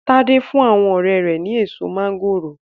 Tade fún àwọn ọrẹ́ rẹ̀ ni èso máńgòrò.